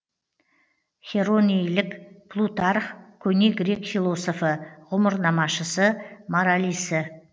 херонеилік плутарх көне грек философы ғұмырнамашысы моралисі